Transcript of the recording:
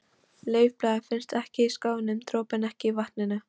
Laufblaðið finnst ekki í skóginum, dropinn ekki í vatninu.